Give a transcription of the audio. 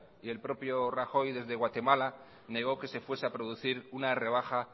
y el propio rajoy desde guatemala negó que se fuese a producir una rebaja